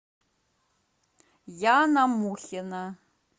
яна мухина